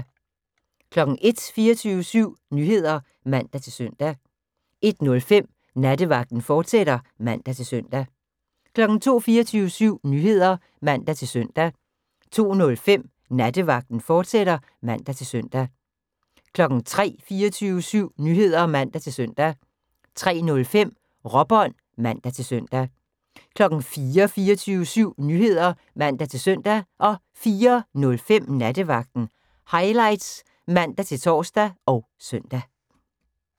01:00: 24syv Nyheder (man-søn) 01:05: Nattevagten, fortsat (man-søn) 02:00: 24syv Nyheder (man-søn) 02:05: Nattevagten, fortsat (man-søn) 03:00: 24syv Nyheder (man-søn) 03:05: Råbånd (man-søn) 04:00: 24syv Nyheder (man-søn) 04:05: Nattevagten Highlights (man-tor og søn)